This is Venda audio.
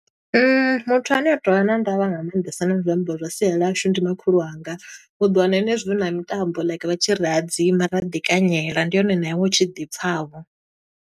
Muthu ane a tovha na ndavha nga maanḓesa na zwiambaro zwa sia ḽashu ndi makhulu wanga. U ḓo wana henezwo huna mitambo like vha tshi ri hadzima ra ḓi kanyela. Ndi hone na iwe u tshi ḓi pfa vho.